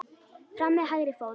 Fram með hægri fót.